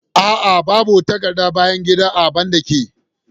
Aa, babu takardar bayan gida a bandakin